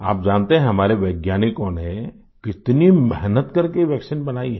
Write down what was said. आप जानते है हमारे वैज्ञानिकों ने कितनी मेहनत करके ये वैक्सीन बनाई है